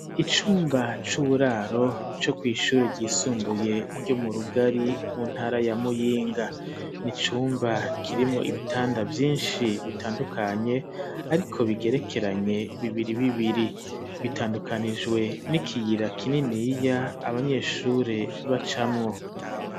Icumba c'uburaro co kw'ishure ryisumbuye ryo mu Rugari, mu ntara ya Muyinga, ni icumba kirimwo ibitanda vyinshi bitandukanye, ariko bigerekeranye bibiri bibiri, bitandukanijwe n'ikiyira kininiya abanyeshure bacamwo.